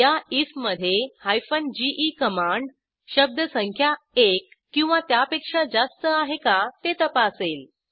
या आयएफ मधे GE command शब्दसंख्या एक किंवा त्यापेक्षा जास्त आहे का ते तपासेल